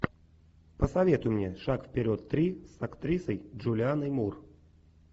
посоветуй мне шаг вперед три с актрисой джулианой мур